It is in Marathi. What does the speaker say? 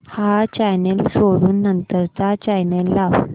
हा चॅनल सोडून नंतर चा चॅनल लाव